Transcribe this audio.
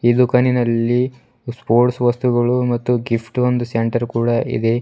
ದುಖಾನಿನಲ್ಲಿ sports ವಸ್ತುಗಳು ಮತ್ತು ಗಿಫ್ಟೊಂದು ಸೆಂಟರ್ ಕೂಡ ಇದೆ.